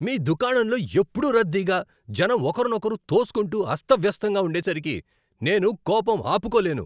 మీ దుకాణంలో ఎప్పుడూ రద్దీగా, జనం ఒకరినొకరు తోసుకుంటూ అస్తవ్యస్తంగా ఉండేసరికి నేను కోపం ఆపుకోలేను.